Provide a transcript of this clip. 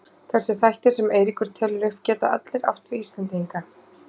Þessir þættir sem Eiríkur telur upp geta allir átt við Íslendinga.